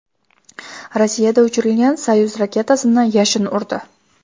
Rossiyada uchirilgan Soyuz raketasini yashin urdi .